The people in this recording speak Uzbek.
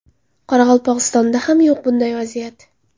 Qoraqalpog‘istonda ham yo‘q bunday vaziyat.